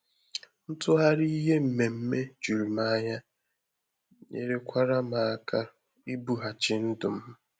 Ntughari ihe mmeme jùrù m anya nyere kwara m aka ibùghachi ndụ m